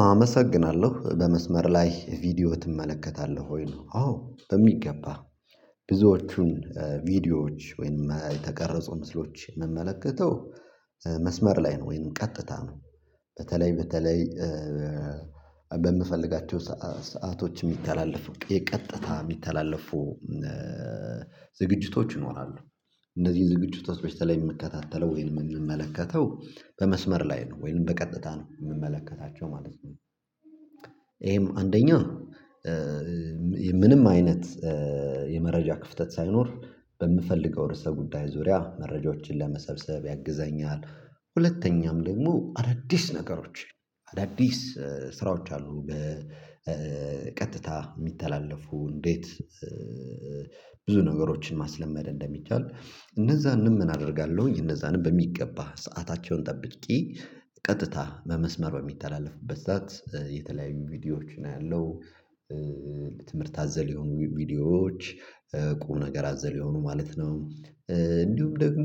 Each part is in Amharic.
አመሰግናለሁ በመስመር ላይ ቪዲዮ ትመለከታለህ ወይ ነው አዎ በሚገባ ብዙዎቹን ቪዲዮዎች ወይንም የተቀረጹ ምስሎች የምመለከተው መስመር ላይ ነው ወይንም ቀጥታ ነው በተለይ በተለይ በምፈልጋቸው ሰአቶች የሚተላለፉ የቀጥታ የሚተላለፉ ዝግጅቶች ይኖራሉ፤ እንደዚህ ዝግጅቶች በተለይ የምከታተለው ወይንም የምንመለከተው በመስመር ላይ ነው ወይንም በቀጥታ ነው የምንመለከታቸው ማለት ነው ይሄም አንደኛ ምንም አይነት የመረጃ ክፍተት ሳይኖር በምፈልገው ርዕሰ ጉዳይ ዙሪያ መረጃዎችን ለመሰብሰብ ያግዘኛል ሁለተኛም ደግሞ አዳዲስ ነገሮች አዳዲስ ስራዎች አሉ በቀጥታ የሚተላለፉ እንዴት ብዙ ነገሮችን ማስለመድ እንደሚቻል እነዛንም ምን አደርጋለሁ እነዛንም በሚገባ ሰአታቸውን ጠብቄ ቀጥታ በመስመር በሚተላለፍበት ሰዓት የተለያዩ ቪዲዮዎችን አያለሁ ለትምህርት አዘል የሆኑ ቪዲዮዎች ቁም ነገር አዘል የሆኑ ማለት ነው እንዲሁም ደግሞ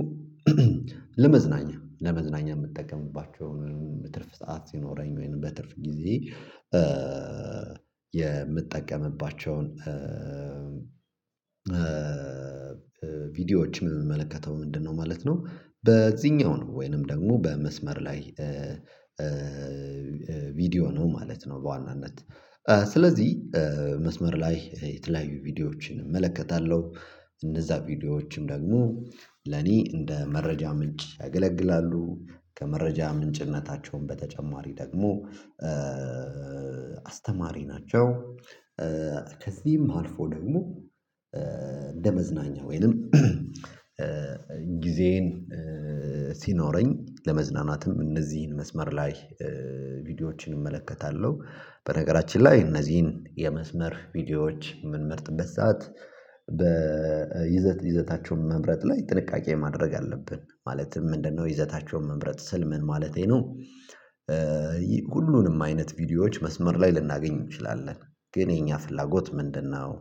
ለመዝናኛ ለመዝናኛ የምጠቀምባቸውን የትርፍ ሰዓት ሲኖረኝ ወይንም በትርፍ ጊዜየ የምጠቀምባቸውን ቪዲዮዎችን የምመለከተው ምንድነው ማለት ነው በዚህኛው ነው ወይንም ደግሞ በመስመር ላይ ቪዲዮ ነው ማለት ነው በዋናነት ስለዚህ መስመር ላይ የተለያዩ ቪዲዮዎችን እመለከታለሁ እነዚያ ቪዲዮዎችም ደግሞ ለኔ እንደ መረጃ ምንጭ ያገለግላሉ ከመረጃ ምንጭነታቸውን በተጨማሪ ደግሞ አስተማሪ ናቸው ከዚህም አልፎ ደግሞ እንደ መዝናኛ ወይንም ጊዜዬን ሲኖረኝ ለመዝናናትም እነዚህን መስመር ላይ ቪዲዮዎችን እመለከታለሁ በነገራችን ላይ እነዚህን የመስመር ቪዲዮዎች የምንመርጥበት ሰዓት በይዘት ይዘታቸውን መምረጥ ላይ ጥንቃቄ ማድረግ አለብን ማለትም ምንድነው ይዘታቸውን መምረጥ ስል ምን ማለቴ ነው ሁሉንም አይነት ቪዲዮዎች መስመር ላይ ልናገኝ እንችላለን፤ ግን የኛ ፍላጎት ምንድነው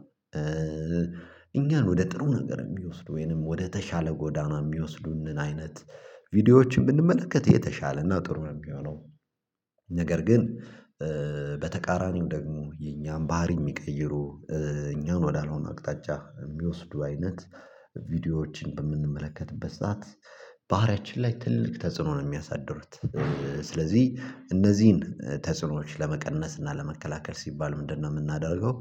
እኛን ወደ ጥሩ ነገር የሚወስድ ወይንም ወደተሻለ ጎዳና የሚወስዱን አይነት ቪዲዮዎችን ብንመለከት የተሻለ እና ጥሩ ነው የሚሆነው፤ ነገር ግን በተቃራኒው ደግሞ የኛን ባህሪ የሚቀይሩ እኛን ወዳልሆነ አቅጣጫ የሚወስዱ አይነት ቪዲዮዎችን በምንመለከትበት ሰዓት ባህሪያችን ላይ ትልልቅ ተጽዕኖ ነው የሚያሳድሩት ስለዚህ እነዚህን ተጽዕኖዎች ለመቀነስ እና ለመከላከል ሲባል ምንድነው የምናደርገው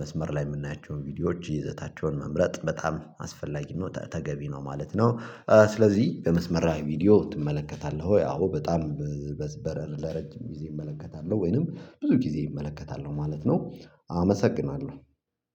መስመር ላይ የምናያቸውን ቪዲዮዎች ይዘታቸውን መምረጥ በጣም አስፈላጊ ነው ተገቢ ነው ማለት ነው፤ ስለዚህ በመስመራ ላይ ቪዲዮ ትመለከታለሁ ወይ አዎ በጣም በረር ለረጅም ጊዜ እመለከታለሁ ወይንም ብዙ ጊዜ ይመለከታሉ ማለት ነው አመሰግናለሁ።